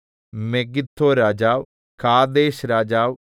മെഗിദ്ദോരാജാവ് കാദേശ് രാജാവ്